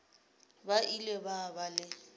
ba ile ba ba le